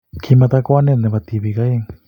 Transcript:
Kimito kwenet ne bo tibiik oeng.